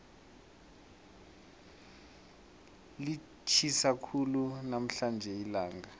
litjhisa khulu namhlanje ilanga